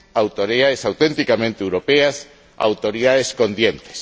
autoridades auténticamente europeas, autoridades con dientes.